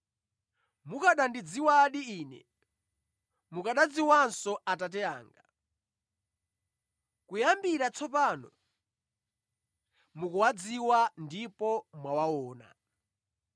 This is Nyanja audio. Mukanandidziwadi Ine, mukanadziwanso Atate anga. Kuyambira tsopano, mukuwadziwa ndipo mwawaona.”